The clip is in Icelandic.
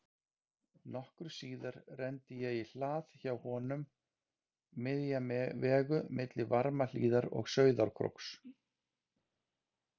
Nokkru síðar renni ég í hlað hjá honum, miðja vegu milli Varmahlíðar og Sauðárkróks.